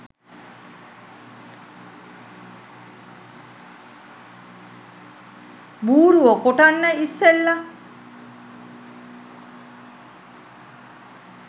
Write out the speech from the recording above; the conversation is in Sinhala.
බූරුවො කොටන්න ඉස්සෙල්ල